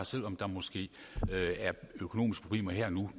selv om der måske er økonomiske problemer her og nu